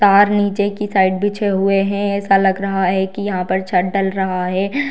तार नीचे की साइड बिछे हुए हैं ऐसा लग रहा है की यहाँ पर छत डल रहा है।